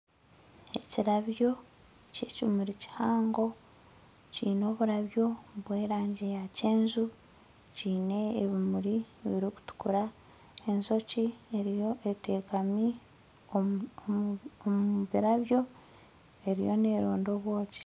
Ekirabyo kyekimuri kihango kiine omurabyo gwerangi ya kyenju kiine ebimuri ebirikutukura enjoki eteekami omu birabyo eriyo neeronda obwoki